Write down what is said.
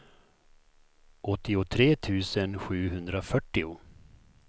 åttiotre tusen sjuhundrafyrtio